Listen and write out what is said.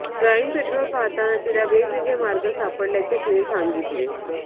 crime patrol पाहताना तिला वेगवेगळे मार्ग सापडल्याचे तिने सांगितले